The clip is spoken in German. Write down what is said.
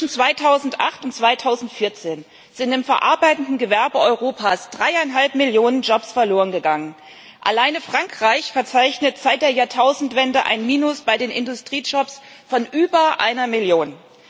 Zwischen 2008 und 2014 sind im verarbeitenden Gewerbe Europas dreieinhalb Millionen Jobs verlorengegangen. Alleine Frankreich verzeichnet seit der Jahrtausendwende bei den Industriejobs ein Minus von über einer Million.